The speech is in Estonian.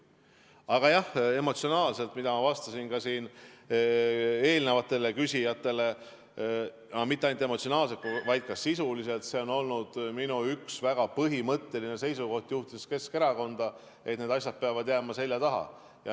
Aga jah, emotsionaalselt ma vastasin ka eelnevatele küsijatele, mitte ainult emotsionaalselt, vaid ka sisuliselt, et see on olnud minu üks väga põhimõttelisi seisukohti, juhtides Keskerakonda, et need asjad peavad jääma seljataha.